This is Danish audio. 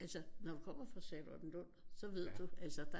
Altså når man kommer fra Charlottenlund så ved du altså der